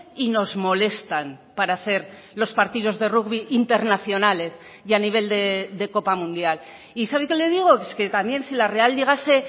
y nos molestan para hacer los partidos de rugby internacionales y a nivel de copa mundial y sabe qué le digo que también si la real llegase